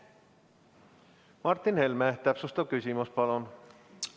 Martin Helme, täpsustav küsimus, palun!